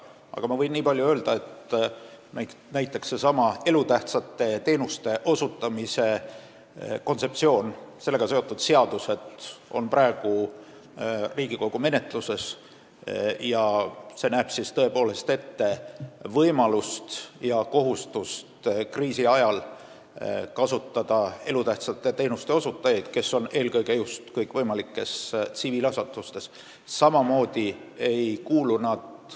Aga võin nii palju öelda, et sellesama elutähtsate teenuste osutamise kontseptsiooniga seotud seadused on praegu Riigikogu menetluses ja me näeme tõepoolest ette võimalust kasutada kriisi ajal elutähtsate teenuste osutajaid, kes on tööl kõikvõimalikes tsiviilasutustes.